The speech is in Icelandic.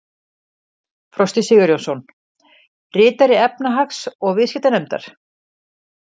Frosti Sigurjónsson: Ritari efnahags- og viðskiptanefndar?